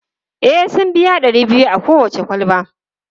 E, sun biya ɗari biyu a kowace kwalba.